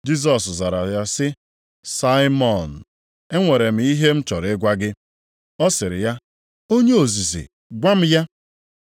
Jisọs zara ya sị, “Saimọn, e nwere m ihe m chọrọ ịgwa gị.” Ọ sịrị ya, “Onye ozizi gwa m ya.”